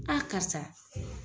karisa.